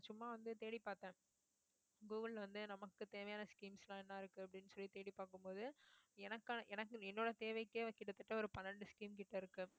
சும்மா வந்து தேடி பார்த்தேன் google வந்து நமக்கு தேவையான schemes எல்லாம் என்ன இருக்கு அப்படின்னு சொல்லி தேடி பார்க்கும் போது எனக்கான எனக்கு என்னோட தேவைக்கே கிட்டத்தட்ட ஒரு பன்னெண்டு scheme கிட்ட இருக்கு.